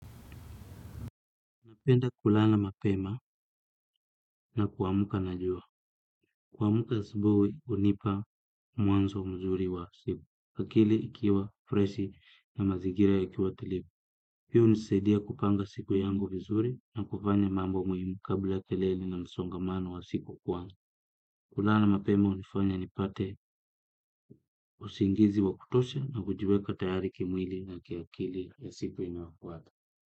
Napenda kulala mapema na kuamuka na jua. Kuamuka asubuhi hunipa mwanzo mzuri wa siku. Akili ikiwa, freshi na mazigira yakiwa tulivu. Hiyo hunisedia kupanga siku yangu vizuri na kufanya mambo muhimu kabla ya kelele na msongamano wa siku kwangu. Kulala mapema hunifanya nipate usingizi wa kutosha na kujiweka tayari kimwili na kiakili ya siku inayofuata.